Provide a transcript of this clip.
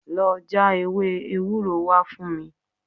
Lọ já ewé ewúro wá fún mi